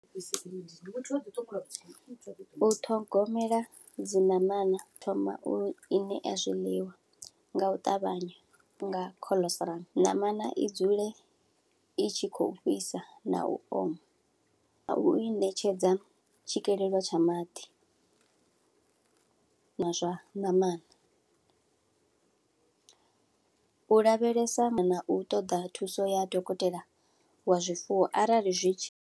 U ṱhogomela dzi ṋamana, u thoma u iṋea zwiḽiwa nga u ṱavhanya nga khoḽostrum. Namana i dzule itshi khou fhisa na u oma, na u i ṋetshedza tshikelelo tsha maḓi na zwa ṋamani. U lavhelesa na u ṱoḓa thuso ya dokotela wa zwifuwo arali zwitshi.